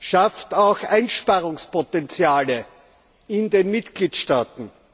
schafft auch Einsparungspotenziale in den Mitgliedstaaten.